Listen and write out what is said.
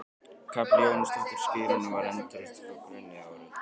Kapella Jóhannesar skírara var endurreist frá grunni árið